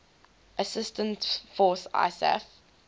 assistance force isaf